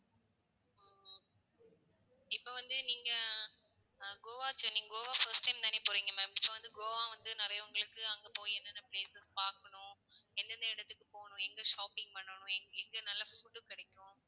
இப்போ வந்து நீங்க அஹ் கோவா சே~கோவா first time தானே போறீங்க ma'am so வந்து கோவா வந்து நிறைய உங்களுக்கு அங்க போய் என்னென்ன places பாக்கணும்? எந்த எந்த இடத்துக்கு போகணும்? எங்க shopping பண்ணணும்? எங்க நல்ல food கிடைக்கும்?